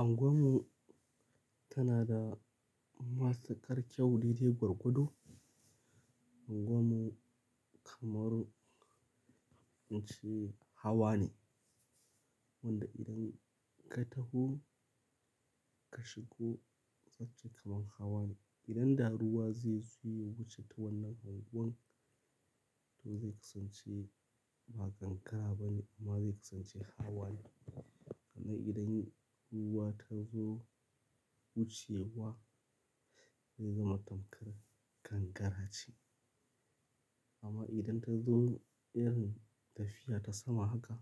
Anguwan mu tana da matuƙar kyau daidai gwargwado Anguwan mu kamar, ce hawa ne wanda idan ka taho ka shigo sace kamar hawa ne. Idan da ruwa zaizo yawuce ta wannan anguwan, to zai kasance ba gangara ba ne amma zai kasance hawa ne. Amma idan ruwa ta zo wucewa zai zama tamkar gangara ce. Amma idan ta zo irin tafiya ta sama haka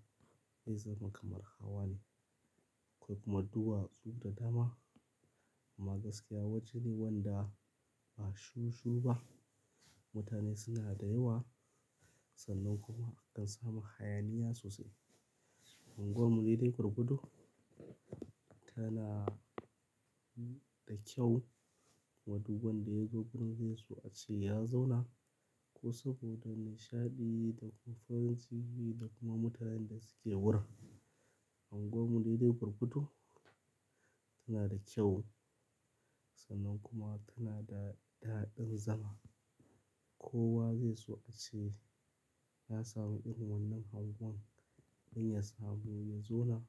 zai zama kamar hawa ne. Akwai kuma duwazu da dama amma gaskiya waje ne wanda ba shirushiru ba. Mutane suna da yawa sannan kuma akan samu hayaniya sosai. Anguwan mu daidai gwargwadu tana da kyau maduban da yazo wurin zai so a ce ya zauna ko saboda nishaɗi da kuma farin ciki da kuma mutanen da suke wurin. Anguwan mu daidai gwargwadu tana da kyau sannan kuma tana da daɗin zama. Kowa zai so a ce ya sami irin wannan anguwan don ya samu ya zauna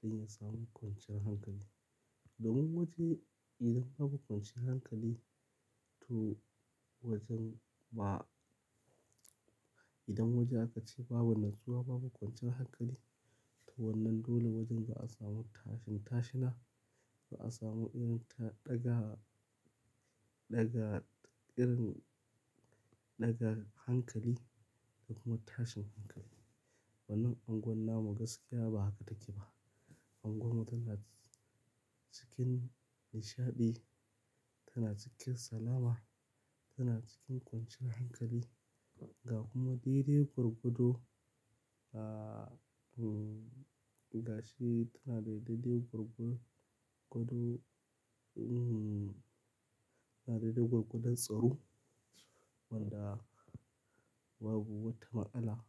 don ya samu kwanciyar hankali. Domin waje idan babu kwanciyar hankali to wajen ba idan waje aka ce babu natsuwa babu kwanciyar hankali to wannan dole wajen ba a samu tashin tashina, ba a samu irin ta daga, daga irin daga hankali da kuma tashin hankali. Wannan anguwan namu gaskiya ba haka take ba. Anguwan mu tana cikin nishaɗi, tana cikin salama, tana cikin kwanciyar hankali. Ga kuma daidai gwargodo, ah, gashi tana daidai gwargwagdo mhm, tana daidai gwagwadon tsaro wanda babu wata ma'tsala,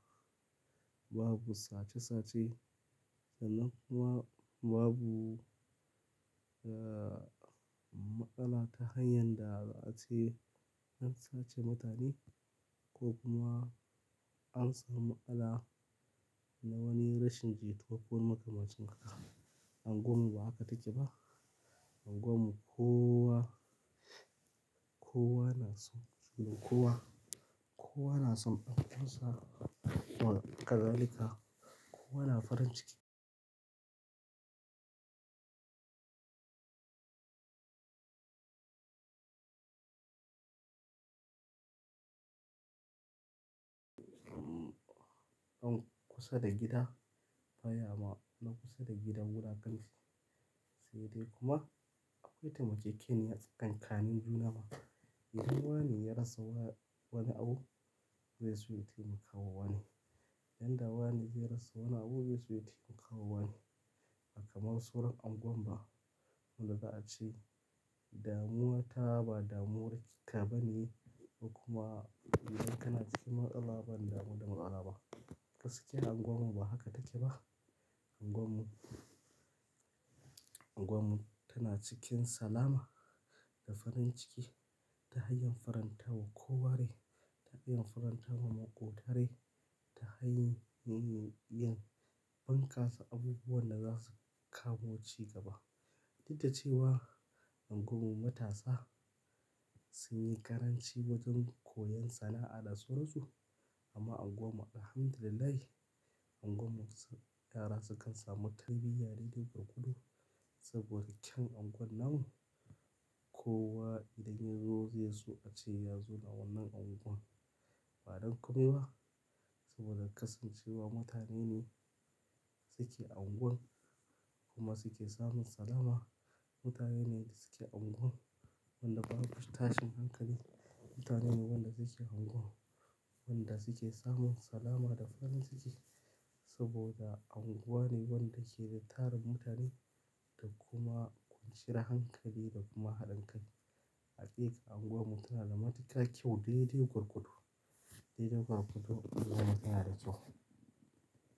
babu sace sace sannan kuma babu, ah, ma'tsala ta hanyar da za a ce idan waje aka ce babu natsuwa babu kwanciyar hankali to wannan dole wajen ba a samu tashin tashina, ba a samu irin ta daga, daga irin daga hankali da kuma tashin hankali. Anguwan mu ba haka take ba. Anguwan mu kowa, kowa na son kowa, kowa na son an kasa kowane ƙazalika, kowa na farin ciki. Wannan anguwan namu gaskiya ba haka take ba. Anguwan mu tana cikin nishaɗi, tana cikin salama, tana cikin kwanciyar hankali. Ga kuma daidai gwagwado, ah, gashi tana daidai gurgu-gudu, mhm, tana daidai gwargwado tsaro wanda babu wata ma'ala, babu sace sace sannan kuma babu, ah, ma'ala ta hanyar da za a ce an sace mutane ko kuma an samu ma'ala na wani rashin jituwa ko makamashin haka. Anguwan mu kowa, kowa na son kowa, kowa na son an kasa kowane ƙazalika, kowa na farin ciki. An kusa da gida baya ma na kusa da gidan wuraken shi. Anguwan mu, anguwan mu tana cikin salama da farin ciki ta hanyar farantawa ko ware, ta hanyar farantawa maƙotare, ta hanyar bunkasa abubuwan da za su kamu cigaba. Didda cewa anguwan mu matasa sun yi ƙaranci wajen koyon sana'a da su rasu. Amma anguwan mu Alhamdulillah, anguwan mu yara sukan samu tarbiyya daidai gwargwado saboda ƙyan anguwan nan. Kowa idan ya zo zai so a ce ya zauna wannan anguwan. Ba don kuma ba saboda kasancewa mutane ne suke anguwan kuma suke samun salama. Mutane ne suke anguwan wanda babu tashin hankali. Mutane ne wanda suke anguwan wanda suke samun salama da farin ciki saboda anguwa ne wanda ke da tarin mutane da kuma kwanciyar hankali da kuma haɗin kai. Hakika anguwan mu tana da matukar kyau daidai gwargwado daidai gwargwado kuma tana da kyau.